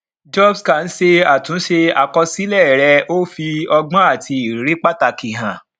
jobscan ṣe àtúnṣe àkọsílẹ rẹ ó fi ọgbọn àti ìrírí pàtàkì hàn